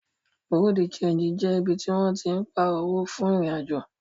Bùréáù de ṣéńjì jẹ ibi tí wọ́n tín pààrọ̀ owó fún ìrìn-àjò